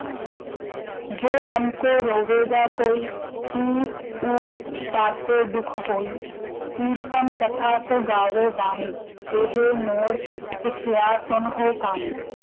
ਜੋ ਹਮਕੋ ਰੋਵੋਗਾ ਕੋਇ, ਤਾਕੋ ਦੁਖ ਹੋਇ, ਕੀਰਤਨ ਕਥਾ ਕੋ ਗਾਵੋ ਬਾਣੀ, ।